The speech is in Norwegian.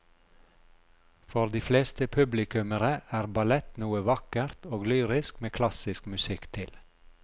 For de fleste publikummere er ballett noe vakkert og lyrisk med klassisk musikk til.